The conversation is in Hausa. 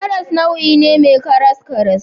Karas nau'i ne mai karaskaras.